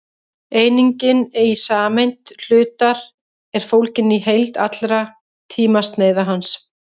einingin í samsemd hlutar er fólgin í heild allra tímasneiða hans